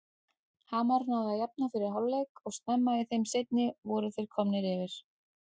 Hamar náði að jafna fyrir hálfleik og snemma í þeim seinni voru þeir komnir yfir.